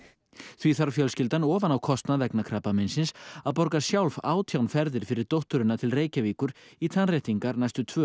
því þarf fjölskyldan ofan á kostnað vegna krabbameins að borga sjálf átján ferðir fyrir dótturina til Reykjavíkur í tannréttingar næstu tvö